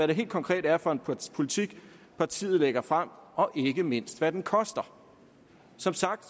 det helt konkret er for en politik partiet lægger frem og ikke mindst hvad den koster som sagt